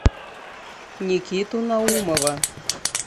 никиту наумова